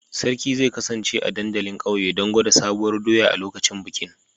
Sarki zai kasance a dandalin ƙauye don gwada Sabuwar doya a lokacin bikin